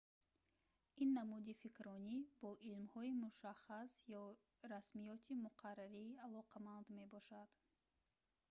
ин намуди фикрронӣ бо илмҳои мушаххас ё расмиёти муқаррарӣ алоқаманд мебошад